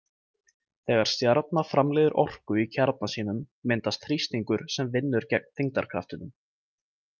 Þegar stjarna framleiðir orku í kjarna sínum myndast þrýstingur sem vinnur gegn þyngdarkraftinum.